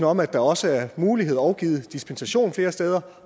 om at der også er mulighed og er givet dispensation flere steder